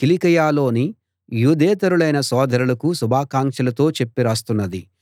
కిలికియలోని యూదేతరులైన సోదరులకు శుభాకాంక్షలతో చెప్పి రాస్తున్నది